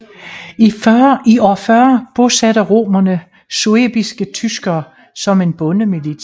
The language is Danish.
I år 40 bosatte romerne suebiske tyskere som en bondemilits